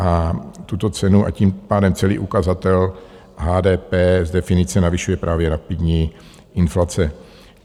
A tuto cenu, a tím pádem celý ukazatel HDP z definice navyšuje právě rapidní inflace.